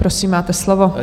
Prosím, máte slovo.